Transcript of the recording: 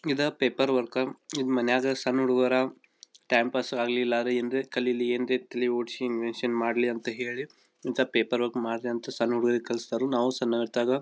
ಇದ paper work ಇದ ಮನೆಗ ಸಣ್ಣ ಹುಡುಗರ ಟೈಮ್ ಪಾಸ್ ಆಗಲಿಲ್ಲಾಏನ್ ರೀ ಕಲಿಲಿ ಏನ್ ರೀ ತಲೆ ಓಡಸಿ ಇನ್ವೆಂಷನ್ ಮಾಡಲಿ ಅಂತ ಹೇಳಿ ಇಂತ ಪೇಪರ್ ವರ್ಕ್ ಮಾಡರಿ ಅಂತ ಸಣ್ಣ ಹುಡುಗರಿಗೆ ಕಲಸ್ತರು ನಾವು ಸಣ್ಣ ಇರತಾಗ.--